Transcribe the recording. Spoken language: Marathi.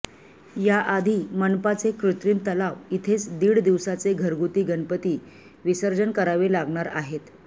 यासाठी मनपाचे कृत्रिम तलाव इथेच दीड दिवसाचे घरगुती गणपती विसर्जन करावे लागणार आहेत